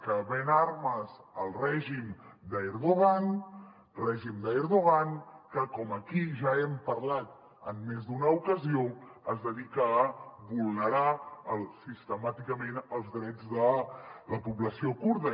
que ven armes al règim d’erdogan que com aquí ja hem parlat en més d’una ocasió es dedica a vulnerar sistemàticament els drets de la població kurda